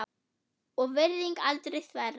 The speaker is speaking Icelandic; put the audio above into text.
og virðing aldrei þverra.